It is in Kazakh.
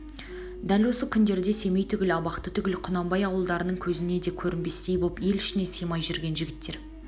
дәл осы күндерде семей түгіл абақты түгіл құнанбай ауылдарының көзіне де көрнбестей боп ел ішіне сыймай жүрген жігіттер